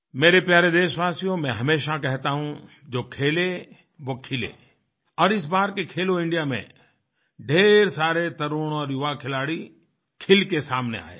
मेरे प्यारे देशवासियोंमै हमेशा कहता हूँ जो खेले वो खिले और इस बार के खेलो इंडिया मेंढ़ेर सारे तरुण और युवाखिलाड़ी खिल के सामने आए हैं